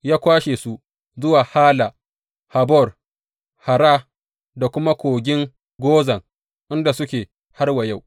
Ya kwashe su zuwa Hala, Habor, Hara da kuma kogin Gozan, inda suke har wa yau.